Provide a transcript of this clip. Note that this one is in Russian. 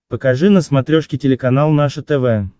покажи на смотрешке телеканал наше тв